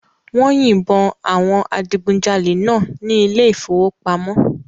Wọ́n yìnbọn àwọn adigunjalè náà ní ilé ìfowópamọ́